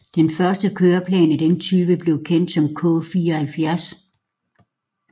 Den første køreplan af den type blev kendt som K74